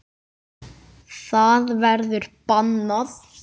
Það verður bannað.